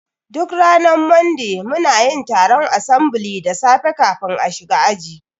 Duk ranar Monday munayin taron asambili da safe kafin a shiga aji